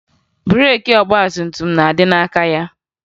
Breeki ọgbatumtum na-adị n'aka ha